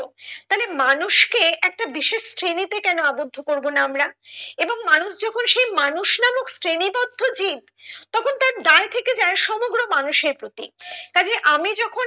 তাহলে মানুষকে একটা বিশেষ শ্রেণীতে কেন আবদ্ধ করবোনা আমরা এবং মানুষ যখন সেই মানুষ নামক শ্রেণী তথ্য জীব তখন তার দায় থেকে যায় সমগ্র মানুষের প্রতি তা যে আমি যখন